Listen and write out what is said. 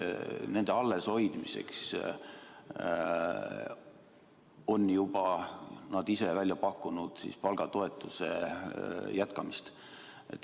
Nende alleshoidmiseks on nad ise välja pakkunud palgatoetuse jätkamist.